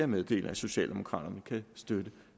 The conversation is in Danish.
meddele at socialdemokraterne kan støtte